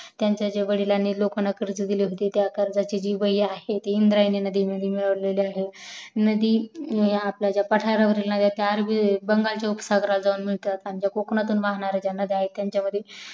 त्यांच्या वडीलाणी लोकांना कर्ज दिले होते त्या कर्जाची जी वही आहे ती इंद्रायणी नदी मध्ये मिळालेली आहे नदी आपल्या ज्या पाठरावरील नद्या आहेत गंगा जो उपसागरला जाऊन मिळते व कोकनातून ज्या वाहणार्‍या नद्या आहेत